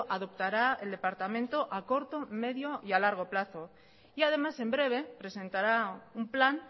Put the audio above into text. adoptará el departamento a corto medio y a largo plazo y además en breve presentará un plan